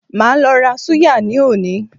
Màá lo ra súyà ní òní